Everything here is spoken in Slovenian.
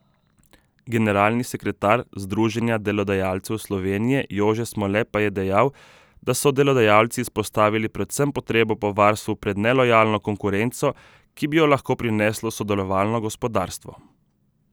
Generalni sekretar Združenja delodajalcev Slovenije Jože Smole pa je dejal, da so delodajalci izpostavili predvsem potrebo po varstvu pred nelojalno konkurenco, ki bi jo lahko prineslo sodelovalno gospodarstvo.